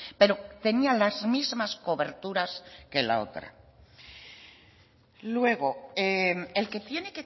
pero tenían las mismas coberturas que la otra luego el que tiene